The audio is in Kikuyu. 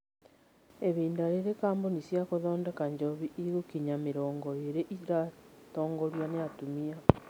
Ihinda rĩrĩ, kambuni cia gũthondeka njohi igũkinya mĩrongo ĩrĩ iratongorio ni atumia.